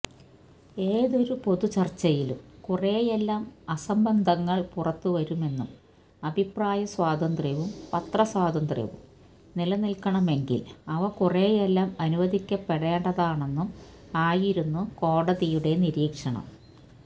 ഏതൊരു പൊതുചര്ച്ചയിലും കുറെയെല്ലാം അസംബന്ധങ്ങള് പുറത്തുവരുമെന്നും അഭിപ്രായസ്വാതന്ത്ര്യവും പത്രസ്വാതന്ത്ര്യവും നിലനില്ക്കണമെങ്കില് അവ കുറെയെല്ലാം അനുവദിക്കപ്പെടേണ്ടതുണ്ടെന്നും ആയിരുന്നു കോടതിയുടെ നിരീക്ഷണം